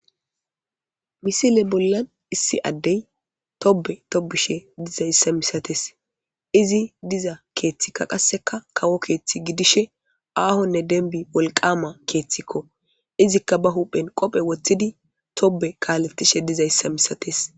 misile bollan issi addey tobe tobushe dizayssa misates izi diza keeththikka qasseka kawo keeththi gidishe aahonne denbi wolqama keeththikko izikka ba huphen qophe woththidi tobe kaaletishe diza yssa misates